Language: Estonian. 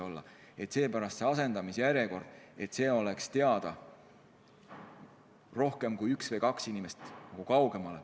Seepärast peaks teada olema asendamise järjekord ja ahelas peaks olema rohkem kui kaks inimest.